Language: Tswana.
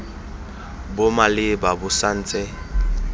bo maleba bo sa ntse